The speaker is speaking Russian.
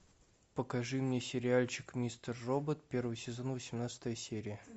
покажи мне сериальчик мистер робот первый сезон восемнадцатая серия